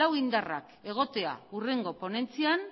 lau indarrak egotea hurrengo ponentzian